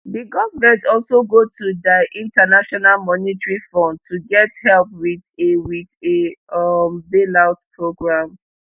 di government also go to diinternational monetary fundto get help wit a wit a um bailout programme